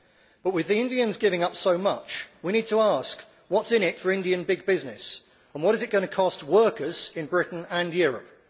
But with the Indians giving up so much, we need to ask what is in it for Indian big business and what is it going to cost workers in Britain and Europe.